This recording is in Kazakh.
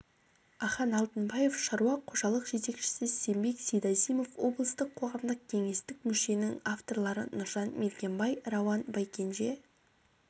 ахан алтынбаев шаруа қожалық жетекшісі сембек сейдазимов облыстық қоғамдық кеңестің мүшесі авторлары нұржан мергенбай рауан байкенже